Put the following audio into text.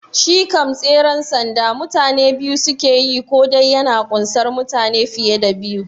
Shi kam tseren sanda mutane biyu suke yi ko dai yana kunsar mutane fiye da biyu?